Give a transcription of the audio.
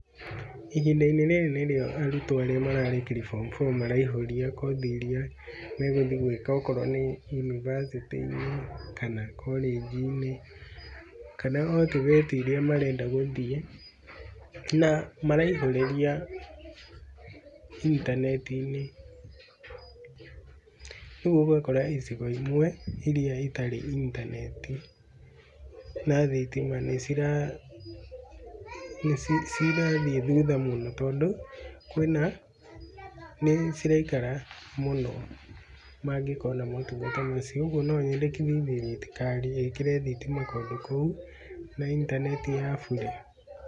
Ihinda rĩrĩ nĩ rĩo arutwo arĩa mararĩkĩrie form four maraihũria kothi iria megũthiĩ gwĩka, okorwo nĩ yunibacĩtĩ-inĩ, kana korĩnji-inĩ, kana o TVET iria marenda gũthiĩ. Na maraihũrĩrĩa intaneti-inĩ, ũguo ũgakora icigo imwe iria itarĩ intaneti na thitima nĩ cirathiĩ cirathiĩ thutha mũno, tondũ kwĩna, nĩ ciraikara mũno mangĩkona maũtungata macio. Oguo no nyendekithie thirikari ĩkĩre thitima kũndũ kũu na intaneti ya bũrĩ.